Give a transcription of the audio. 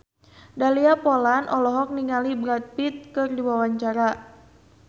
Dahlia Poland olohok ningali Brad Pitt keur diwawancara